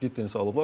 Aldılar.